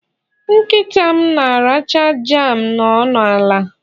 Nkita m na-aracha jam no n'ala